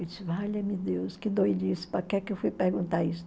Eu disse, valha-me Deus, que doidice, para que que eu fui perguntar isso?